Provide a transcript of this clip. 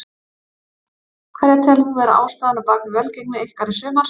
Hverja telur þú vera ástæðuna á bakvið velgengni ykkar í sumar?